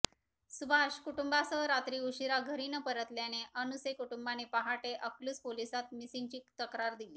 सुभाष कुटुंबासह रात्री उशिरा घरी न परतल्याने अनुसे कुटुंबाने पहाटे अकलूज पोलिसात मिसिंगची तक्रार दिली